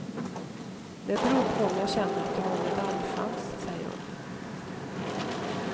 Det beror på om jag känner att jag har medaljchans, säger hon.